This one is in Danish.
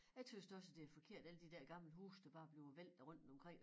Jeg tøs da også det er forkert alle de der gamle huse der bare bliver væltet rundtomkring